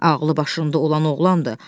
Ağlı başında olan oğlandır.